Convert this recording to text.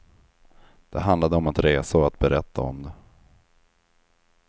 Det handlade om att resa och att berätta om det.